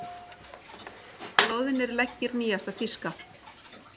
Loðnir leggir nýjasta tíska